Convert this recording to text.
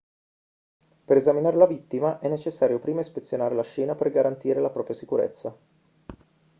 per esaminare la vittima è necessario prima ispezionare la scena per garantire la propria sicurezza